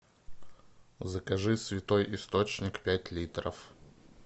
закажи святой источник пять литров